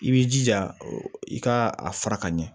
I b'i jija i ka a fara ka ɲɛ